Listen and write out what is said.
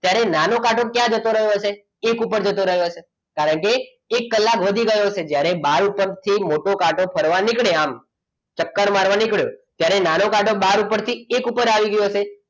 ત્યારે નાનો કાંટો ક્યાં જતો રહ્યો હશે એક વૃક્ષ ઉપર જતો રહ્યો છે કારણ કે એક કલાક વધી ગયો છે જ્યારે બહાર ઉપર થી મોટો કાંટો ફરવા નીકળ્યા આમ ચક્કર મારવા નીકળે ત્યારે નાનો કાંટો બહાર ઉપરથી એક ઉપર આવી ગયો હશે